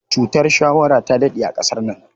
Cutar shawara ta daɗe a ƙasar nan.